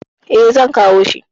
E, zan kawo shi.